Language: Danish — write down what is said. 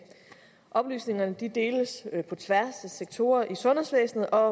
oplysningerne deles på tværs af sektorer i sundhedsvæsenet og